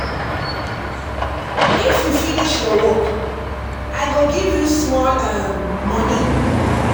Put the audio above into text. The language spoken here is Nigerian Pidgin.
If you finish your work, I go give you small um moni.